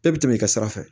E bɛ tɛmɛ i ka sira fɛ